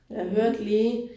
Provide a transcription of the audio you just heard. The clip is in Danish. Mh